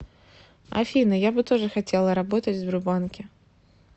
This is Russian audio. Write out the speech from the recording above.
афина я бы тоже хотела работать в сбербанке